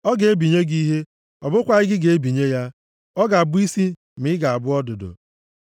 Ọ ga-ebinye gị ihe, ọ bụkwaghị gị ga-ebinye ya! Ọ ga-abụ isi ma ị ga-abụ ọdụdụ.